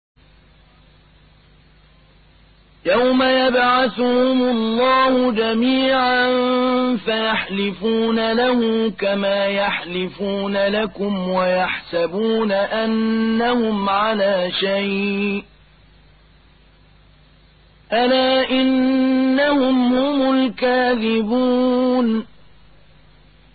يَوْمَ يَبْعَثُهُمُ اللَّهُ جَمِيعًا فَيَحْلِفُونَ لَهُ كَمَا يَحْلِفُونَ لَكُمْ ۖ وَيَحْسَبُونَ أَنَّهُمْ عَلَىٰ شَيْءٍ ۚ أَلَا إِنَّهُمْ هُمُ الْكَاذِبُونَ